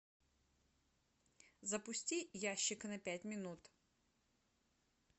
запусти ящик на пять минут